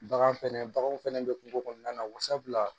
Bagan fɛnɛ baganw fɛnɛ be kungo kɔnɔna na wa sabula